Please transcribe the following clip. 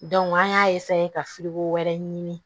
an y'a ka wɛrɛ ɲini